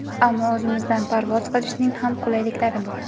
Ammo o‘zimizdan parvoz qilishning ham qulayliklari bor.